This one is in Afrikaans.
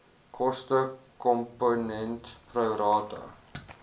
koste komponent prorata